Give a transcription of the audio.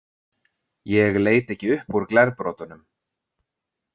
Ég leit ekki upp úr glerbrotunum.